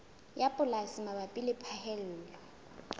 ya polasi mabapi le phaello